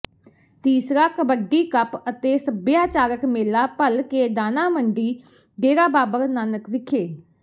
ਤੀਸਰਾ ਕਬੱਡੀ ਕੱਪ ਅਤੇ ਸੱਭਿਆਚਾਰਕ ਮੇਲਾ ਭਲਕੇ ਦਾਣਾ ਮੰਡੀ ਡੇਰਾ ਬਾਬਾ ਨਾਨਕ ਵਿਖੇ